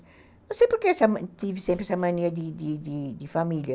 Não sei por que tive sempre essa mania de de de família.